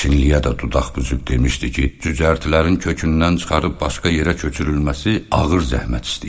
Çinliyə də dodaq büzüb demişdi ki, cücərtilərin kökündən çıxarıb başqa yerə köçürülməsi ağır zəhmət istəyir.